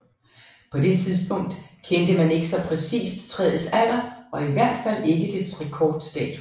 På det tidspunkt kendte man ikke så præcist træets alder og i hvert fald ikke dets rekordstatus